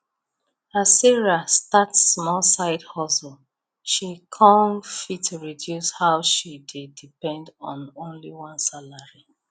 as sarah start small side hustle she kan fit reduce how she dey depend on only one salary